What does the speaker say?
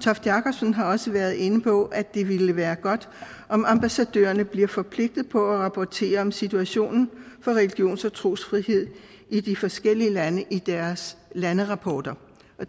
toft jakobsen har også været inde på at det ville være godt om ambassadørerne blev forpligtet på at rapportere om situationen for religions og trosfrihed i de forskellige lande i deres landerapporter